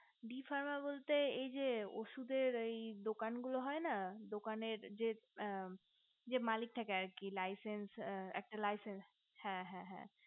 the farmer বলতে এই যে ওষধের এই দোকান গুলো হয় না দোকানের যে মালিক থাকে আর কি laichech একটা laichech হ্যা হ্যা